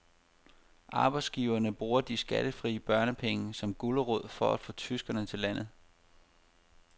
Arbejdsgiverne bruger de skattefri børnepenge som gulerod for at få tyskere til landet.